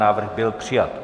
Návrh byl přijat.